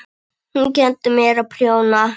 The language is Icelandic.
Hún kenndi mér að prjóna.